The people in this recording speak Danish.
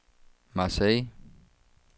Marseilles